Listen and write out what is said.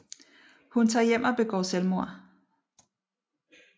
Hun tager hjem og begår selvmord